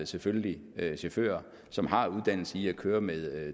selvfølgelig være chauffører som har uddannelse i at køre med